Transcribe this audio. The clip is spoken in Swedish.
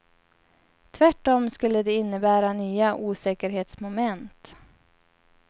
Tvärtom skulle det innebära nya osäkerhetsmoment.